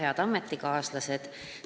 Head ametikaaslased!